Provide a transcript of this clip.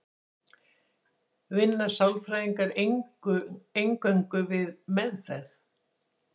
Vinna sálfræðingar eingöngu við meðferð?